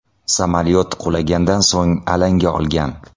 Samolyot qulagandan so‘ng alanga olgan.